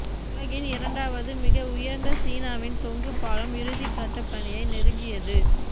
உலகின் இரண்டாவது மிக உயர்ந்த சீனாவின் தொங்கு பாலம் இறுதி கட்ட பணியை நெருங்கியது